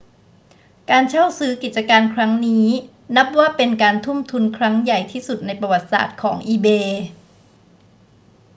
การเข้าซื้อกิจการครั้งนี้นับว่าเป็นการทุ่มทุนครั้งใหญ่ที่สุดในประวัติศาสตร์ของ ebay